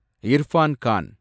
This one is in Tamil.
இர்ஃபான் கான்